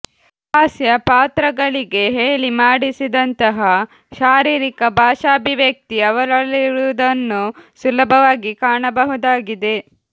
ಹಾಸ್ಯ ಪಾತ್ರಗಳಿಗೆ ಹೇಳಿ ಮಾಡಿಸಿದಂತಹ ಶಾರೀರಿಕ ಭಾಷಾಭಿವ್ಯಕ್ತಿ ಅವರಲ್ಲಿರುವುದನ್ನು ಸುಲಭವಾಗಿ ಕಾಣಬಹುದಾಗಿದೆ